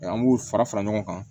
an b'u fara fara ɲɔgɔn kan